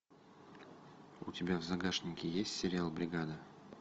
у тебя в загашнике есть сериал бригада